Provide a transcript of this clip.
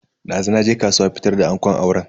Dazu naje kasuwa fitar da angon auren.